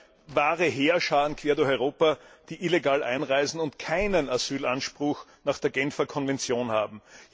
Es gibt ja wahre Heerscharen in ganz Europa, die illegal einreisen und keinen Asylanspruch nach der Genfer Konvention haben.